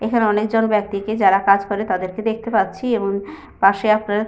এখানে অনেকজন ব্যক্তিকে যারা কাজ করে তাদেরকে দেখতে পাচ্ছি এবং পাশে আপনার।